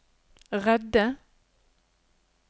redde